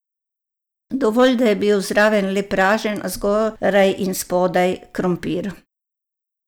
Dovolj, da je bil zraven le pražen, a zgoraj in spodaj, krompir.